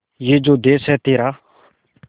ये जो देस है तेरा